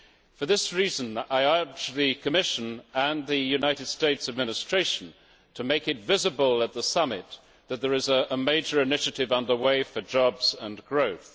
For this reason, I urge the Commission and the United States administration to make it visible at the Summit that there is a major initiative under way for jobs and growth.